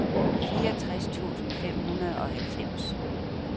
fireogtres tusind fem hundrede og halvfems